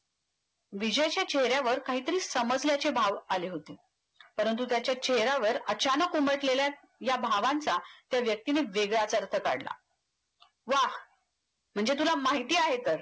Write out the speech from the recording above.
विजयच्या चेहऱ्यावर काहीतरी समजल्याचे भाव आले होते परंतु त्याच्या चेहऱ्यावर अचानक उमटलेल्या या भावांचा त्या व्यक्तीने वेगळाच अर्थ काढला वाह म्हणजे तुला माहिती आहे तर